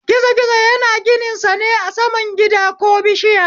Gizo gizo yana gininsa ne a saman gida ko bishiya